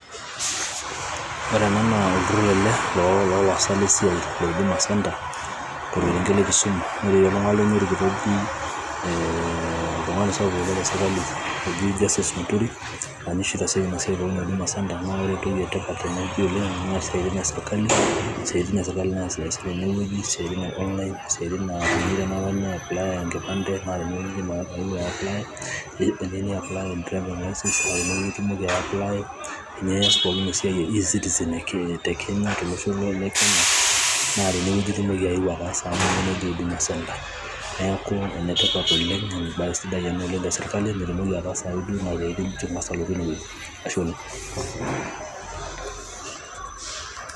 Background noise